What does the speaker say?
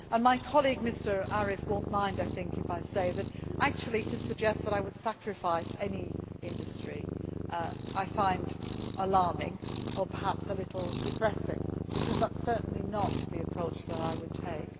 My colleague, Mr Arif, will not mind, I think, if I say that to suggest that I would sacrifice any industry, I find alarming or perhaps a little depressing, because that is certainly not the approach that I would take.